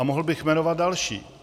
A mohl bych jmenovat další.